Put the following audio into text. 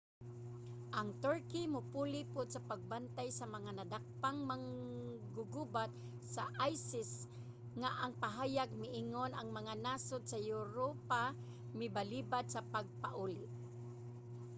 ang turkey mopuli pud sa pagbantay sa mga nadakpang manggugubat sa isis nga ang pahayag miingon ang mga nasod sa europa mibalibad sa pagpauli